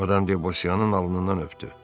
Madam de Bosyanın alnından öptü.